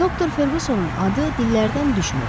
Doktor Ferqusonun adı dillərdən düşmürdü.